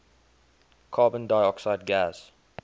carbon dioxide gas